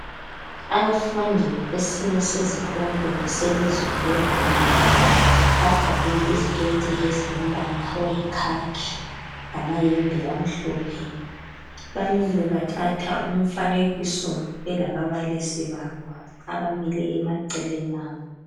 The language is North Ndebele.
Abafundi besinye sezikolo selizwe le Rwanda bagqoke iziketi ezilombala oyikhakhi lamayembe amhlophe. Bamile bathatha umfanekiso belababalisi babo abamile emaceleni abo.